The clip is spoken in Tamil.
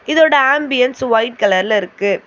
இதோட ஆம்பியன்ஸ் ஒயிட் கலர்ல இருக்கு.